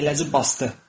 Əyləci basdı.